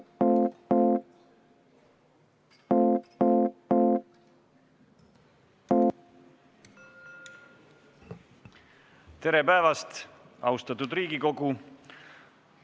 Tere päevast, austatud Riigikogu!